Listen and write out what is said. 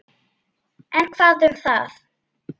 En hvað um það?